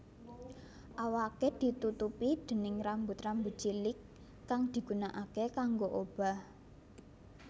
Awaké ditutupi déning rambut rambut cilik kang digunaake kanggo obah